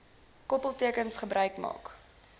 koppeltekens gebruik gemaak